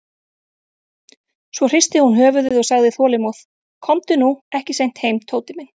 Svo hristi hún höfuðið og sagði þolinmóð: Komdu nú ekki seint heim, Tóti minn.